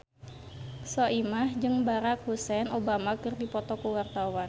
Soimah jeung Barack Hussein Obama keur dipoto ku wartawan